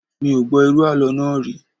Mi ò gbọ́ irú àlọ́ náà rí